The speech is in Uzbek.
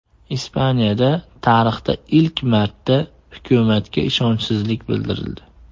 Ispaniyada tarixda ilk marta hukumatga ishonchsizlik bildirildi.